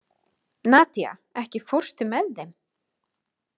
Nadía, ekki fórstu með þeim?